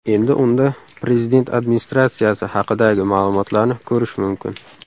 Endi unda Prezident Administratsiyasi haqidagi ma’lumotlarni ko‘rish mumkin.